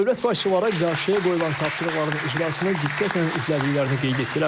Dövlət başçıları qarşıya qoyulan tapşırıqların icrasını diqqətlə izlədiklərini qeyd etdilər.